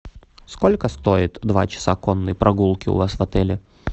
сколько стоит два часа конной прогулки у вас в отеле